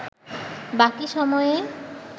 বাকি সময়ে